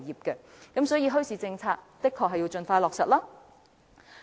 因此，墟市政策的確應盡快落實。